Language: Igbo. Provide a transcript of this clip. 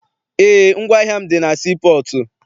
Eé, ngwaahịa m dị na sii pọọtụ.